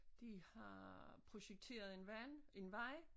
De har projekteret en vand en vej